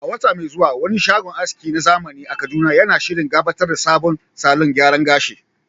A wata mai zuwa, wani shagon aski na zamani a Kaduna yana shirin gabatar da sabon salon gyaran gashi.